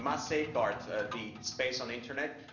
We must safeguard the space on the internet.